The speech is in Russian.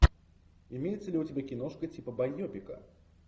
имеется ли у тебя киношка типа байопика